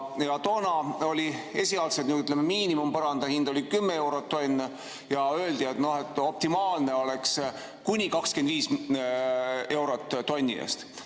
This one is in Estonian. Toona oli esialgne miinimumhind 10 eurot tonn ja öeldi, et optimaalne oleks kuni 25 eurot tonni eest.